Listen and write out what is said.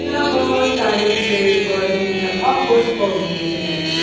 यह बहुत सारे पेड़ पौधे हैं अह पुष्प हैं।